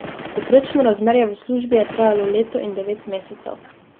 Povprečno razmerje v službi je trajalo leto in devet mesecev.